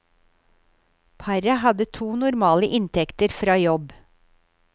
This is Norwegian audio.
Paret hadde to normale inntekter fra jobb.